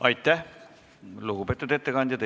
Aitäh, lugupeetud ettekandja!